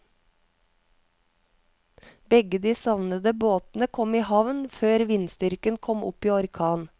Begge de savnede båtene kom i havn før vindstyrken kom opp i orkan.